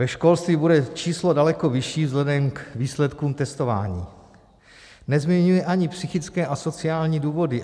Ve školství bude číslo daleko vyšší vzhledem k výsledkům testování, nezmiňuji ani psychické a sociální důvody.